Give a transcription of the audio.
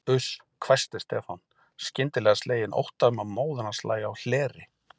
Uss hvæsti Stefán, skyndilega sleginn ótta um að móðir hans lægi á hleri.